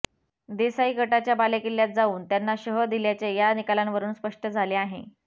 देसाई गटाच्या बालेकिल्ल्यात जावून त्यांना शह दिल्याचे या निकालांवरून स्पष्ट झाले आहे